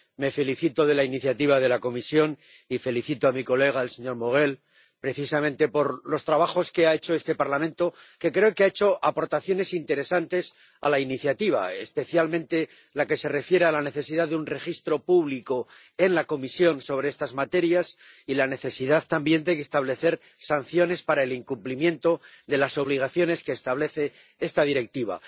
Me felicito de la iniciativa de la Comisión y felicito a mi colega, el señor Maurel, precisamente por el trabajo que ha hecho este Parlamento, que creo que ha hecho aportaciones interesantes a la iniciativa, especialmente en lo que se refiere a la necesidad de contar con un registro público en la Comisión sobre estas materias y a la necesidad, también, de establecer sanciones para el incumplimiento de las obligaciones que establece esta Directiva.